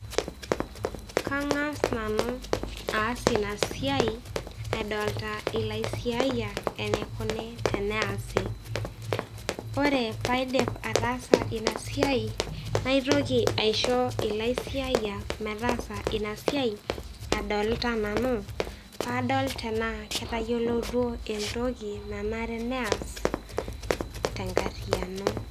Kang'as nanu aas ina siai edolita ilaisiayiak eneikuni teneasi. Ore paaidip ataasa ina siai, naitoki aisho ilaisiayiak metaasa ina siai adolita nanu, paadol tenaa ketayioloutuo entoki nanare neas tenkarriyiano.